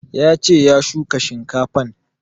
Ya ce ya shuka shinkafan